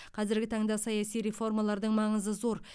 қазіргі таңда саяси реформалардың маңызы зор